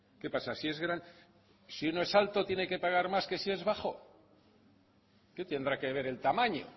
qué pasa si es gran si uno es alto tiene que pagar más que si es bajo qué tendrá que ver el tamaño